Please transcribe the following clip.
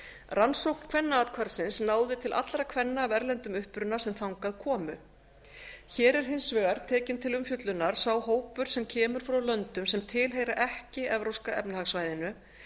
rannsókn kvennaathvarfsins náði til allra kvenna af erlendum uppruna sem þangað komu hér er hins vegar tekinn til umfjöllunar sá hópur sem kemur frá löndum sem tilheyra ekki evrópska efnahagssvæðinu